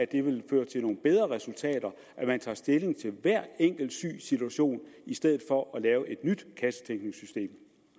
det vil føre til nogle bedre resultater at man tager stilling til hver enkelt sygs situation i stedet for at lave et nyt kassetænkningssystem